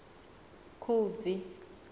khubvi